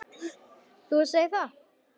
Þú segir það!